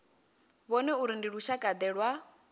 vhone uri ndi lushakade lwa